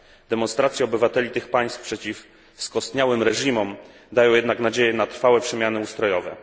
Demonstracje obywateli tych państw przeciw skostniałym reżimom dają jednak nadzieję na trwałe przemiany ustrojowe.